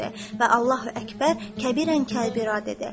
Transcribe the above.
Və Allahu Əkbər Kəbirən Kəbirə dedi.